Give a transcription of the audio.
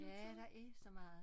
Ja der er så meget